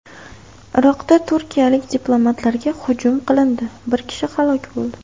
Iroqda turkiyalik diplomatlarga hujum qilindi, bir kishi halok bo‘ldi.